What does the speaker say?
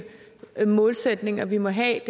målsætninger vi må have